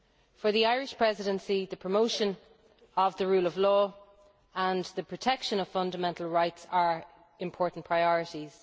For the Irish Presidency, the promotion of the rule of law and the protection of fundamental rights are important priorities.